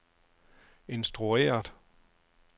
instrueret